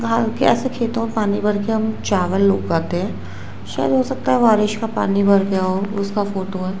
धान के ऐसे खेतों में पानी भर के हम चावल उगाते हैं। शायद हो सकता है बारिश का पानी भर गया हो उसका फोटो है।